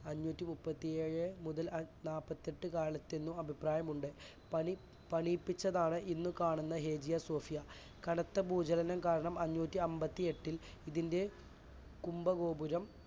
അഞ്ഞൂറ്റിമുപ്പത്തിഏഴ് മുതൽ നാൽപ്പത്തെട്ട് കാലത്തെന്നും അഭിപ്രായമുണ്ട് പണി~പണിയിപ്പിച്ചതാണ് ഇന്ന് കാണുന്ന ഹേഗിയ സോഫിയ കനത്ത ഭൂചലനം കാരണം അഞ്ഞൂറ്റിഅന്പത്തിയേട്ടിൽ ഇതിൻറെ കുംഭ ഗോപുരം